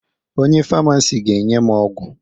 Onye famasi ga-enye m ọgwụ